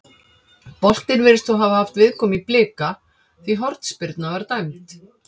Boltinn virðist þó hafa haft viðkomu í Blika því hornspyrna var dæmd.